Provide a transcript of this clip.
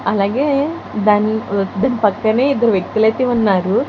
అలాగే దాని దాని పక్కనే ఇద్దరు వ్యక్తులైతే ఉన్నారు.